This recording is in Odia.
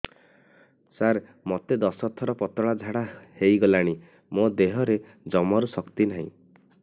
ସାର ମୋତେ ଦଶ ଥର ପତଳା ଝାଡା ହେଇଗଲାଣି ମୋ ଦେହରେ ଜମାରୁ ଶକ୍ତି ନାହିଁ